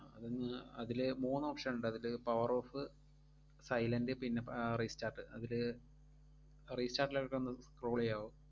അതിലെ മൂന്ന് option ഒണ്ടതില്, power off, silent പിന്നെ പ~ ആഹ് restart അതില് restart ഒന്ന് scroll എയ്യാവോ?